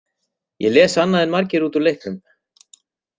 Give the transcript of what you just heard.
Ég les annað en margir út úr leiknum.